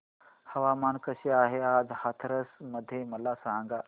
हवामान कसे आहे आज हाथरस मध्ये मला सांगा